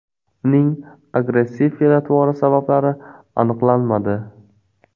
Uning agressiv fe’l-atvori sabablari aniqlanmadi.